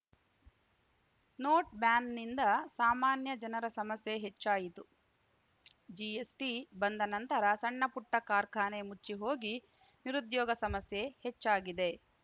note ಬ್ಯಾನ್‌ನಿಂದ ಸಾಮಾನ್ಯ ಜನರ ಸಮಸ್ಯೆ ಹೆಚ್ಚಾಯಿತು ಜಿಎಸ್‌ಟಿ ಬಂದ ನಂತರ ಸಣ್ಣಪುಟ್ಟಕಾರ್ಖಾನೆ ಮುಚ್ಚಿಹೋಗಿ ನಿರುದ್ಯೋಗ ಸಮಸ್ಯೆ ಹೆಚ್ಚಾಗಿದೆ